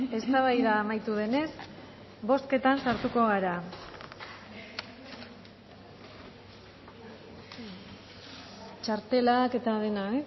eztabaida amaitu denez bozketan sartuko gara txartelak eta dena